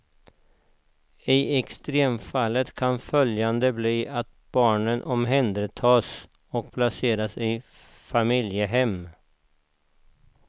I extremfallet kan följden bli att barnen omhändertas och placeras i familjehem.